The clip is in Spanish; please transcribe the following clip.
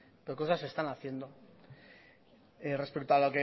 pero cosas se están haciendo respecto